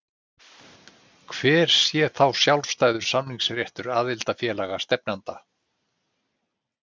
Hver sé þá sjálfstæður samningsréttur aðildarfélaga stefnanda?